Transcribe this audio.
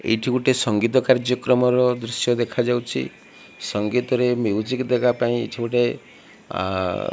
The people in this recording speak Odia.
ଏଇଠି ଗୋଟେ ସଙ୍ଗୀତ କାର୍ଯ୍ୟକ୍ରମର ଦୃଶ୍ଯ ଦେଖାଯାଉଚି ସଙ୍ଗୀତରେ ମ୍ୟୁଜିକ ଦେବାପାଇଁ ଏଠି ଗୋଟେ।